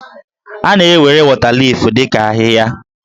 A na-ewere wọtaliif dị ka ahịhịa.